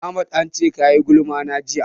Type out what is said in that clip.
Ahmad an ce ka yi gulma na jiya.